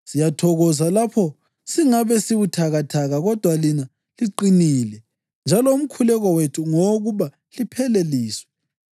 Siyathokoza lapho singabe sibuthakathaka kodwa lina liqinile njalo umkhuleko wethu ngowokuba lipheleliswe.